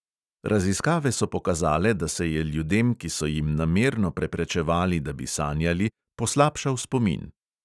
Raziskave so pokazale, da se je ljudem, ki so jim namerno preprečevali, da bi sanjali, poslabšal spomin.